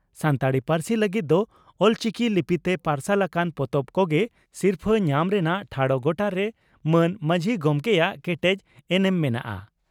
ᱥᱟᱱᱛᱟᱲᱤ ᱯᱟᱹᱨᱥᱤ ᱞᱟᱹᱜᱤᱫ ᱫᱚ ᱚᱞᱪᱤᱠᱤ ᱞᱤᱯᱤᱛᱮ ᱯᱟᱨᱥᱟᱞ ᱟᱠᱟᱱ ᱯᱚᱛᱚᱵ ᱠᱚᱜᱮ ᱥᱤᱨᱯᱷᱟᱹ ᱧᱟᱢ ᱨᱮᱱᱟᱜ ᱴᱷᱟᱲᱚ ᱜᱚᱴᱟᱨᱮ ᱢᱟᱱ ᱢᱟᱹᱡᱷᱤ ᱜᱚᱢᱠᱮᱭᱟᱜ ᱠᱮᱴᱮᱡ ᱮᱱᱮᱢ ᱢᱮᱱᱟᱜᱼᱟ ᱾